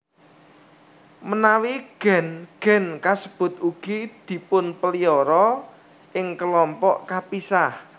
Menawi gen gen kasebut ugi dipunpelihara ing kelompok kapisah